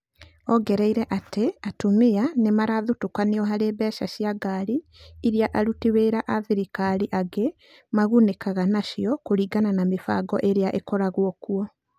Aongereire atĩ atumia nĩ marathutũkanio harĩ mbeca cia ngari iria aruti wĩra a thirikari angĩ magunĩkaga nacio kũringana na mĩbango ĩrĩa ĩkoragwo kuo.